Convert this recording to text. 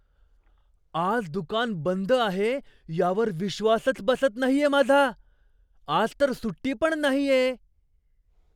आज दुकान बंद आहे यावर विश्वासच बसत नाहीये माझा! आज तर सुट्टी पण नाहीये.